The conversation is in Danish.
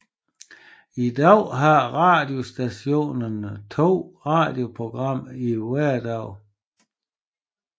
I dag har radiostationen 2 radioprogrammer i hverdagene